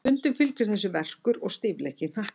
Stundum fylgir þessu verkur og stífleiki í hnakka.